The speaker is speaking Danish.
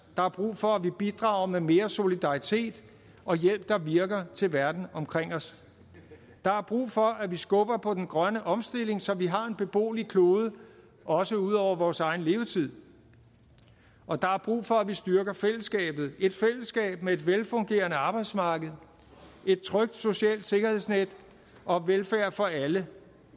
der er brug for at vi bidrager med mere solidaritet og hjælp der virker til verden omkring os der er brug for at vi skubber på den grønne omstilling så vi har en beboelig klode også ud over vores egen levetid og der er brug for at vi styrker fællesskabet et fællesskab med et velfungerende arbejdsmarked et trygt socialt sikkerhedsnet og velfærd for alle